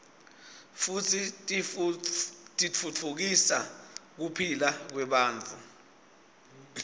futsi titfutfukisa kuphila kwebantfu